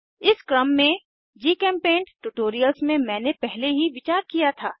इस क्रम में जीचेम्पेंट ट्यूटोरियल्स में मैंने पहले ही विचार किया था